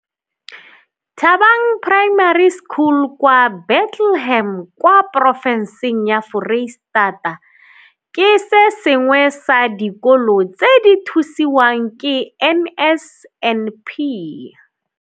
Thabang Primary School kwa Bethlehem, kwa porofe nseng ya Foreistata, ke se sengwe sa dikolo tse di thusiwang ke NSNP.